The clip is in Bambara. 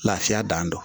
Lafiya dan don